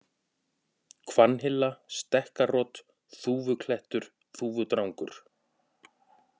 Hvannhilla, Stekkarot, Þúfuklettur, Þúfudrangur